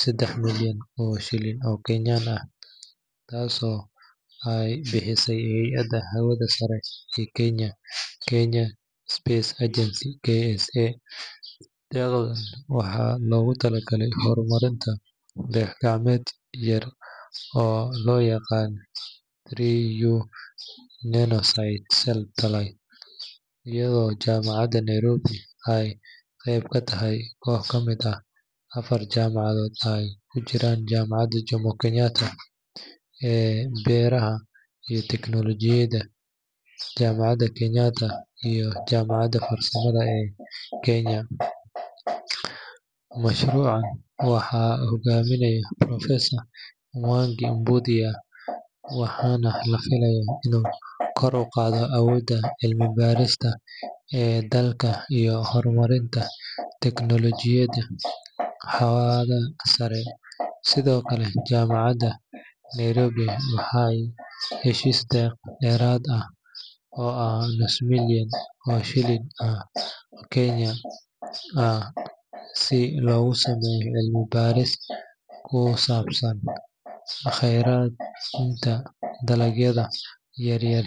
sedex milyan oo shilin oo kenyan ah, taas oo aay bixise hayada hawada sare ee kenya, kenya space agency KIA, ayado waxa loogu tala galay hor marinta dayax gacmeed yar oo loo yaqaano runelosite satellite ayado jamacad Nairobi aay qeyb katahay kooc kamid ah afar jamacadood aay kujiraan jamacada jomo Kenyatta aay beerida iyo teknolojiyada, jamacada Kenyatta iyo jamacada farsamada ee Kenya, mashruuca waxaa hogaaminaya professor Mwangi, waxaana lafilaaya inuu kor uqaado awooda cilmi barista ee dalka iyo hor marinta teknolojiyada hawada sare, sido kale jamacada Nairobi waxeey heshiis deerad ah oo ah nus milyan oo kenya ah si loogu saneeyo cilmi baris kusabsan kheradka dalagyada yaryar.